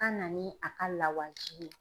a na ni a ka lawaji ye.